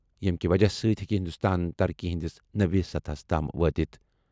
ییٚمہِ کہِ وجہ سۭتۍ ہیٚکہِ ہِنٛدُستان ترقی ہِنٛدِس نٔوِس سطحس تام وٲتِتھ۔